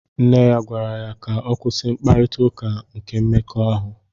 Nne ya gwara ya ka ọ kwụsị mkparita ụka nke mmekọahụ.